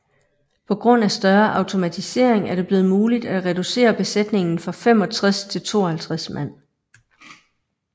På grund af større automatisering er det blevet muligt at reducere besætningen fra 65 til 52 mand